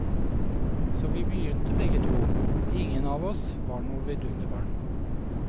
Så vi begynte begge to, ingen av oss var noe vidunderbarn.